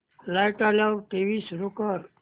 light आल्यावर TV सुरू कर